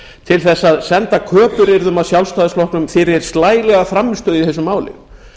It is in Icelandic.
til þess að senda köpuryrði að sjálfstæðisflokknum fyrir slælega frammistöðu í þessu máli